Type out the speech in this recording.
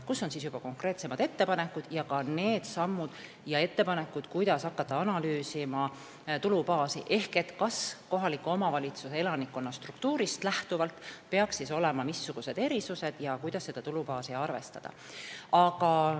Need on juba konkreetsemad ettepanekud, sh need sammud ja ettepanekud, kuidas hakata analüüsima tulubaasi – missugused peaksid olema erisused kohaliku omavalitsuse elanikkonna struktuurist lähtuvalt ja kuidas seda tulubaasi arvestada.